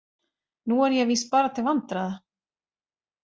Nú er ég víst bara til vandræða